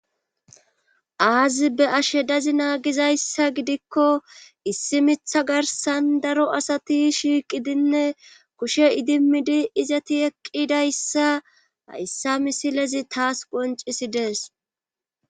aazi be ashe dazi naagizayssa gidikko issi mitha garsan daro asati shiiqidinne kushe idimidi izati eqqidayssa hayssa misilezi taas qoncisi dees